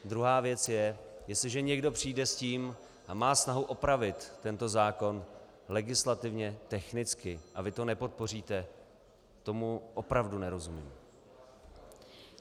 Druhá věc je, jestliže někdo přijde s tím a má snahu opravit tento zákon legislativně technicky, a vy to nepodpoříte, tomu opravdu nerozumím.